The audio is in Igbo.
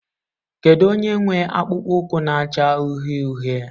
Kedu onye nwe akpụkpọ ụkwụ na-acha uhie uhie?